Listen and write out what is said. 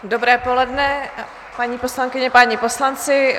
Dobré poledne, paní poslankyně, páni poslanci.